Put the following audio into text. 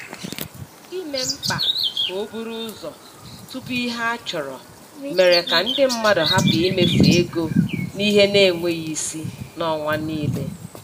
Ime mkpa ka o buru ụzọ tupu ihe a chọrọ mere ka ndị mmadụ hapụ imefu ego n'ihe na-enweghị isi n'ọnwa niile.